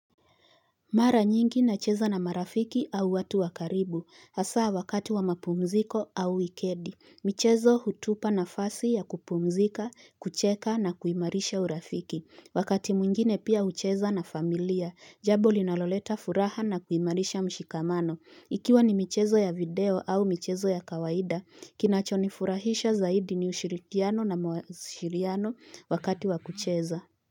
Mara nyingi nacheza na marafiki au watu wa karibu, hasa wakati wa mapumziko au wikendi, michezo hutupa nafasi ya kupumzika, kucheka na kuimarisha urafiki, wakati mwingine pia hucheza na familia, jambo linaloleta furaha na kuimarisha mshikamano, ikiwa ni michezo ya video au michezo ya kawaida, kinacho nifurahisha zaidi ni ushirikiano na mwasiliano wakati wa kucheza.